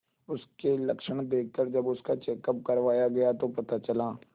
उसके लक्षण देखकरजब उसका चेकअप करवाया गया तो पता चला